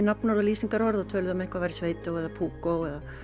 nafnorð og lýsingarorð og töluðu um að eitthvað væri eða púkó eða